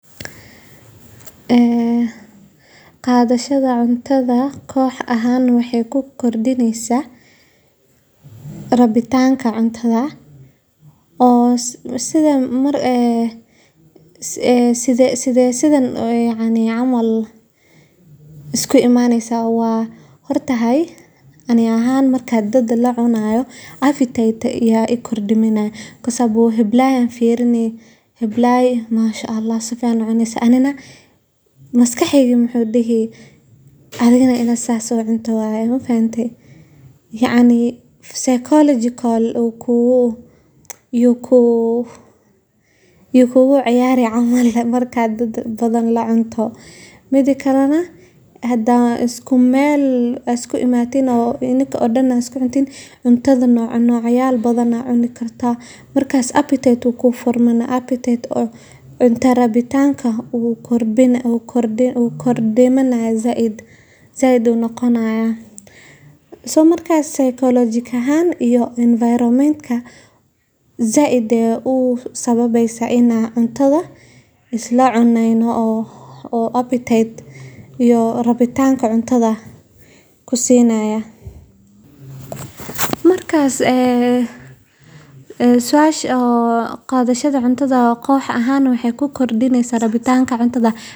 Qadashada cuntada koox ahaan waa dhaqan muhiim ah oo xoojiya wadajirka, isdhexgalka, iyo xiriirka ka dhexeeya xubnaha kooxaha. Marka kooxuhu si wadajir ah u cunteeyaan, waxay helaan fursad ay ku wada hadlaan, ku wadaagaan fikradaha, ugana baxaan culeyska shaqada ama waxbarashada. Waxa kale oo ay fursad u tahay in la dhiso kalsoonida kooxeed, la is fahmo, lana xoojiyo ruuxa is-kaashi. Dhaqankaas wuxuu ka caawin karaa kooxaha inay noqdaan kuwo mideysan oo leh xiriir wanaagsan,